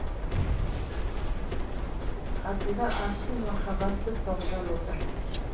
қасында асыл махаббаты тоғжан отыр